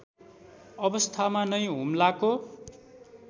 अवस्थामा नै हुम्लाको